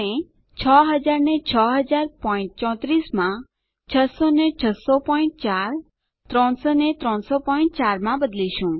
આપણે બદલીશું 6000 ને 600034 માં 600 ને 6004 300 ને 3003 માં